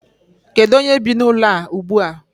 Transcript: Kedu onye bi n'ụlọ a ugbu a?